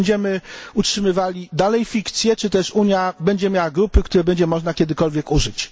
Czy będziemy utrzymywali dalej fikcję, czy też Unia będzie miała grupy, których będzie można kiedykolwiek użyć?